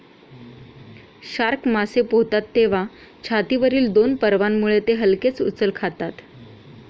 Shark मासे पोहतात तेव्हा छातीवरील दोन पर्वांमुळे ते हलकेच उचल खातात.